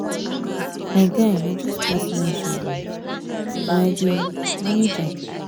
my guy na just personal issues but i dey manage am.